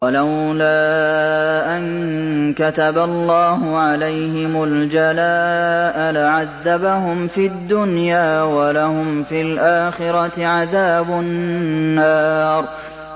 وَلَوْلَا أَن كَتَبَ اللَّهُ عَلَيْهِمُ الْجَلَاءَ لَعَذَّبَهُمْ فِي الدُّنْيَا ۖ وَلَهُمْ فِي الْآخِرَةِ عَذَابُ النَّارِ